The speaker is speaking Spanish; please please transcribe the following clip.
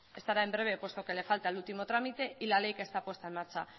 estará en breve puesto que la falta el último trámite y la ley que está puesta en marcha